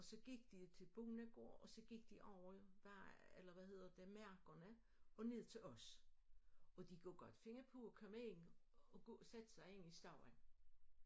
Og så gik de til Bohnegård og så gik de over vej eller hvad hedder det mærkerne og ned til os og de kunne godt finde på at komme ind og sætte sig inde i stuen